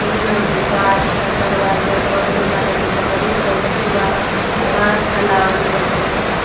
इ में ओते गाछ बा | दरवाजा बंद बा | हेने बहरी चौकी बा | घास है लावल बाटे।